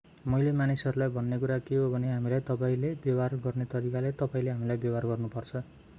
मैले मानिसहरूलाई भन्ने कुरा के हो भने हामीलाई तपाईंले व्यवहार गर्ने तरिकाले तपाईंले हामीलाई व्यवहार गर्नुपर्छ